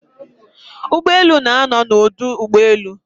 Ugboelu na-ano n'odu ugboelu